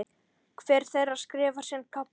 Hver þeirra skrifar sinn kafla.